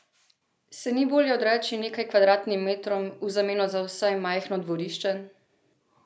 Se ni bolje odreči nekaj kvadratnim metrom v zameno za vsaj majhno dvorišče?